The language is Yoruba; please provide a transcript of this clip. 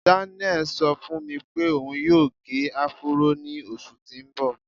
Daniel ṣọ fún mi pé òun yóò gẹ áfúró ní oṣù tí ń bọ̀.